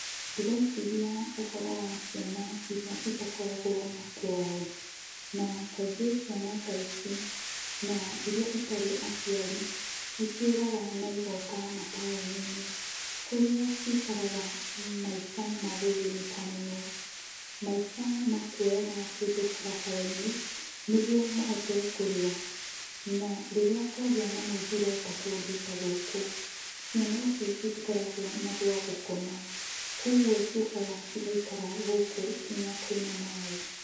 Ndĩreciria ũhoro wa ciana iria citakoragwo na kwao, na kaingĩ ciana ta ici, na iria itarĩ aciari, nĩciũraga na igoka mataũni-inĩ, kũrĩa cikaraga maica ma gũthĩnĩka mũno. Maica ma kuoyaga kĩndũ barabara-inĩ nĩguo mahote kũrĩa. Na, rĩrĩa kwagĩa na mũihũro ta kũndũ ta gũkũ, ciana ici citikoragwo na gwa gũkoma, kwoguo ciũkaga cigaikara gũkũ kinyagia kwĩna maĩ.